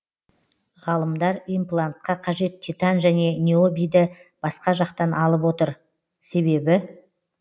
ғалымдар имплантқа қажет титан және необиді басқа жақтан алып отыр себебі